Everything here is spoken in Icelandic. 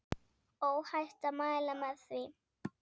Óhætt að mæla með því.